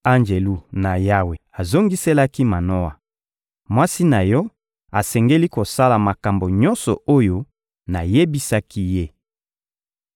Anjelu na Yawe azongiselaki Manoa: — Mwasi na yo asengeli kosala makambo nyonso oyo nayebisaki ye.